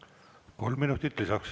Kolm minutit lisaks.